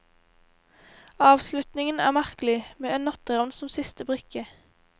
Avslutningen er merkelig, med en natteravn som siste brikke.